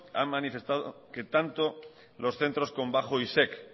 ha manifestado que tanto los centros con bajo isec